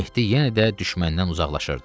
Mehdi yenə də düşməndən uzaqlaşırdı.